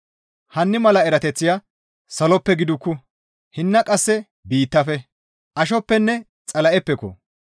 Hinni mala erateththaya saloppe gidikku; hinna qasse biittafe, ashoppenne Xala7eppeko!